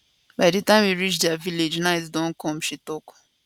by di time we reach dia village night don come she tok